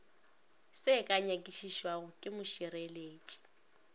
se ka nyakišišwago ke mošireletši